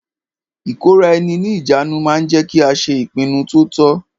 Ìkóraẹni ní ìjánu ma ń jẹ́ kí a ṣe ìpinnu to tọ́.